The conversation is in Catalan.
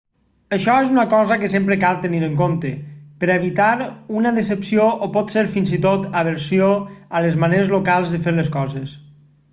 això és una cosa que sempre cal tenir en compte per a evitar una decepció o potser fins i tot aversió a les maneres locals de fer les coses